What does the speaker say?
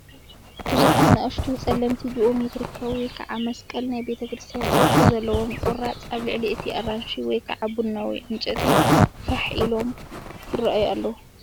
ብዙሓት ንኣሽቱ፡ ጸለምቲ፡ ጂኦሜትሪካዊ ወይ ከዓ መሳቕል ናይ ቤተ ክርስትያን ቅርጺ ዘለዎም ቁራጽ ኣብ ልዕሊ እቲ ኣራንሺ/ቡናዊ ዕንጨይቲ ፋሕ ኢሎም ይራኣዩ ኣለዉ።